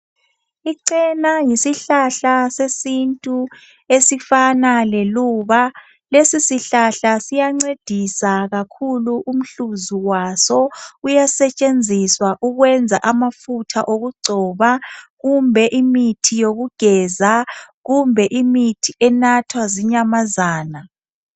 Ichena yisihlahla sesintu esifana leluba , lesi sihlahla siyancedisa kakhulu umhluzi waso uyasetshenziswa ukwenza amafutha okugcoba kumbe imithi yokugeza kumbe imithi enathwa zinyamazana